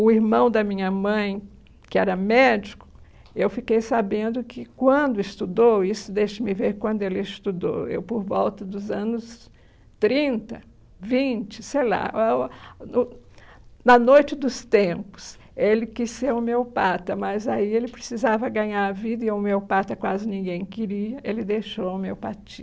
O irmão da minha mãe, que era médico, eu fiquei sabendo que quando estudou, isso deixa-me ver quando ele estudou, eu por volta dos anos trinta, vinte, sei lá, na noite dos tempos, ele quis ser homeopata, mas aí ele precisava ganhar a vida e a homeopata quase ninguém queria, ele deixou a homeopatia.